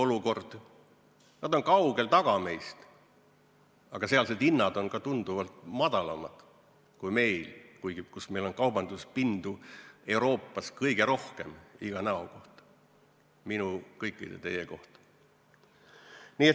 Nad on meist kaugel taga, ka sealsed hinnad on tunduvalt madalamad kui meil, kuigi meil on kaubanduspinda Euroopas kõige rohkem iga näo kohta, minu ja kõikide teie kohta.